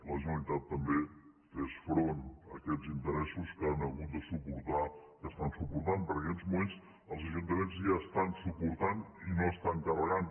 la generalitat també fes front a aquests interessos que han hagut de suportar que estan suportant perquè en aquests moments els ajuntaments ja estan suportant i no estan carregant